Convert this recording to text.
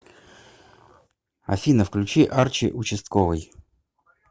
афина включи арчи участковый